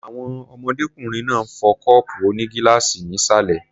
Àwọn ọmọdékùnrin náà ń fọ́ kọ́ọ̀pù onígíláàsì ní ìsàlẹ̀ m